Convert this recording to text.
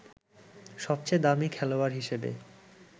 সবচেয়ে দামি খেলোয়াড় হিসেবে